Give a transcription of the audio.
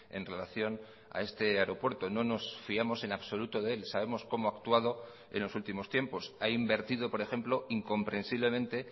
en relación a este aeropuerto no nos fiamos en absoluto de él sabemos cómo ha actuado en los últimos tiempos ha invertido por ejemplo incomprensiblemente